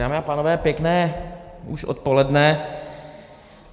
Dámy a pánové, pěkné už odpoledne.